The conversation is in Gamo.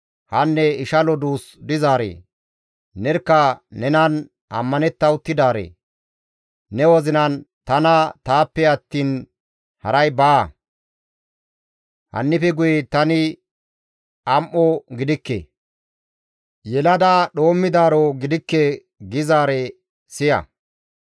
«Hanne ishalo duus dizaaree! Nerkka nenan ammanetta uttidaaree! Ne wozinan, ‹Tana; taappe attiin haray baa. Hannife guye tani am7o gidikke; yelada dhoommidaaro gidikke› gizaaree siya!